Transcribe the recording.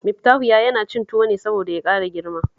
Miftahu ya yana cin tuwo ne saboda ya ƙara girma